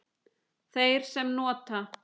Þeir sem nota